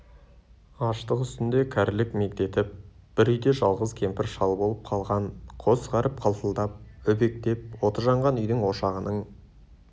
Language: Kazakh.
аштық үстінде кәрілік мегдетіп бір үйде жалғыз кемпір-шал болып қалған қос ғаріп қалтылдап өбектеп оты жанған үйдің ошағының